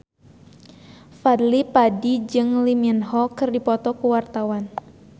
Fadly Padi jeung Lee Min Ho keur dipoto ku wartawan